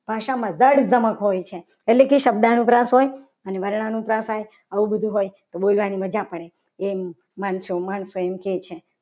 ભાષામાં ધડ ધમક હોય છે. એટલે કે શબ્દાનુપ્રાસ હોય અને વર્ણ અનુપ્રાસ હોય આવું બધું હોય. એટલે બોલવાની મજા પડે. એમ માનશું માણસો એમ કહે છે.